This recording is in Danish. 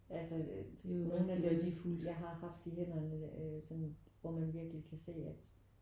Altså øh nogen af dem jeg har haft i hænderne øh sådan hvor man virkelig kan se at